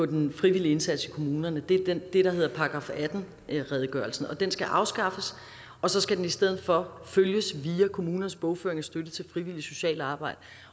den frivillige indsats i kommunerne det er det der hedder § atten redegørelsen den skal afskaffes og så skal det i stedet for følges via kommunernes bogføring af støtte til frivilligt socialt arbejde